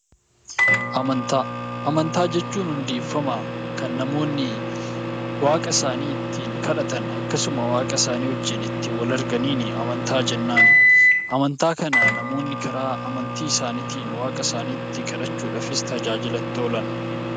Amantaa Amantaa jechuun hundeeffama kan namoonni waaqa isaanii ittiin kadhatan akkasumas waaqa isaanii ittiin wal arganiin amantaa jennaan. Amantaa kana namoonni karaa amantii isaaniitiin waaqa isaanii itti kadhachuudhaan tajaajila itti oolan.